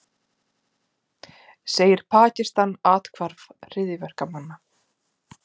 Segir Pakistan athvarf hryðjuverkamanna